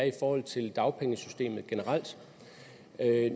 i forhold til dagpengesystemet generelt